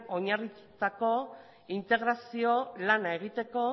oinarritutako integrazioa lana egiteko